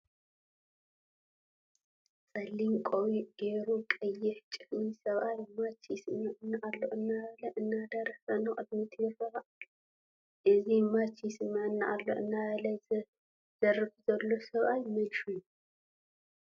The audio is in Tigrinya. ፀሊም ቆቢዕ ገይሩ ቀይሕ ጫሓም ሰብኣይ ማቻ ይስመዐኒ ኣሎ እናበለ እናደረፈ ንቅድሚ ይርኢ ኣሎ፡፡ እዚ ማቻ ይስመዐኒ ኣሎ እናበለ ዝርፍ ዘሎ ሰብኣይ መን ሽሙ?